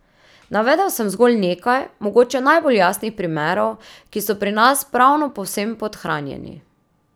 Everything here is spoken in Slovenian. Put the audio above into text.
Navedel sem zgolj nekaj, mogoče najbolj jasnih primerov, ki so pri nas pravno povsem podhranjeni.